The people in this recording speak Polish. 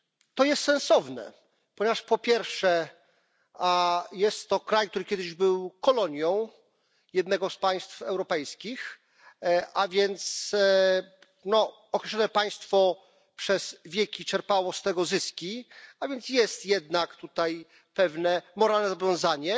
To jest sensowne, ponieważ po pierwsze, jest to kraj, który kiedyś był kolonią jednego z państw europejskich, a więc określone państwo przez wieki czerpało z tego zyski, a więc jest jednak tutaj pewne moralne zobowiązanie.